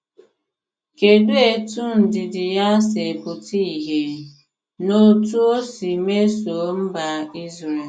Kedụ etú ndidi ya si pụta ìhè n’otú o si mesoo mba Izrel?